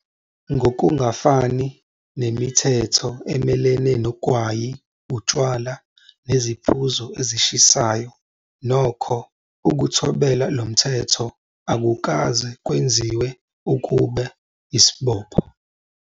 Ngokungafani nemithetho emelene nogwayi, utshwala neziphuzo ezishisayo, nokho, ukuthobela lo mthetho akukaze kwenziwe kube isibopho.